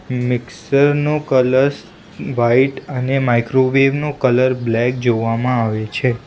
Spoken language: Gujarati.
મિક્સર નો કલસ વાઈટ અને માઇક્રોવેવ નો કલર બ્લેક જોવામાં આવે છે.